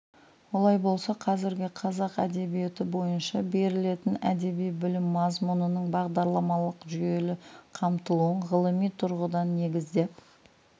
олай болса қазіргі қазақ әдебиеті бойынша берілетін әдеби білім мазмұнының бағдарламалық жүйелі қамтылуын ғылыми тұрғыдан негіздеп